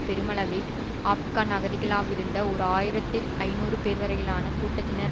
பெருமளவில் ஆப்கான் அகதிகளாவிருந்த ஒரு ஆயிரத்தி ஐநூறு பேர்வரையிலான கூட்டத்தினர்